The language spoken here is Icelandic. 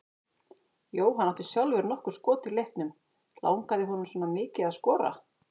Jóhann átti sjálfur nokkur skot í leiknum, langaði honum svona mikið að skora?